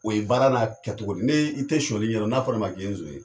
O ye baara n'a kɛcogo de ye . Ni i te suɲɛli ɲɛdɔn n'a fɔra i ma k'i ye zon ye.